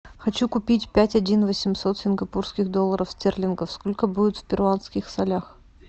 хочу купить пять один восемьсот сингапурских долларов стерлингов сколько будет в перуанских солях